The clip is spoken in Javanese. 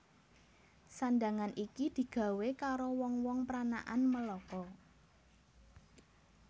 Sandhangan iki digawé karo wong wong pranakan Melaka